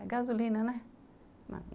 É gasolina, né?